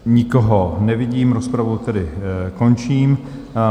Nikoho nevidím, rozpravu tedy končím.